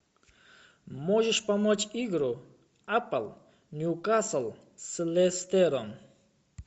можешь помочь игру апл ньюкасл с лестером